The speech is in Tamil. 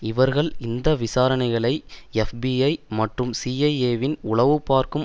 இவர்கள் இந்த விசாரணைகளை எப்பிஐ மற்றும் சிஐஏவின் உளவுபார்க்கும்